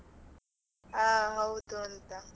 ಹಾ ಹೌದು ಅಂತ.